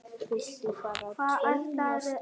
Viltu fara troðnar slóðir?